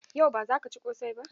Yau, ba zaka ci ƙosai ba?